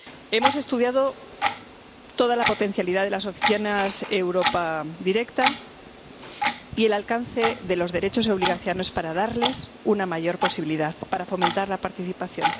Hemos estudiado toda la potencialidad de las opciones Europe Direct y el alcance de los derechos y obligaciones para darles una mayor posibilidad, para fomentar la participación.